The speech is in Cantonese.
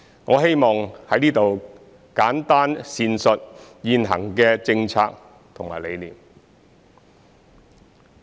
我希望在此簡單闡述現行的政策和理念。